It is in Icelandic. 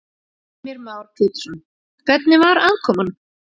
Heimir Már Pétursson: Hvernig var aðkoman?